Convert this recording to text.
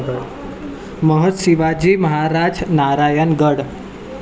Mahant Shivaji Maharaj Narayangarh